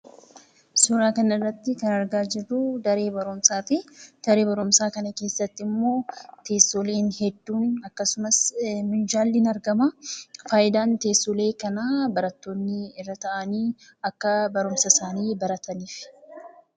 Suuraa kana irratti kan argaa jirru daree barumsaati. Daree barumsaa kana keessatti immoo teessoleen hedduun akkasumas minjaalli ni argama. Faayidaan teessolee kanaa barattoonni irra taa'anii akka barumsa isaanii barataniifi.